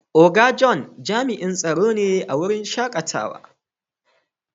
Oga John jami'in tsaro ne a waren shakatawa.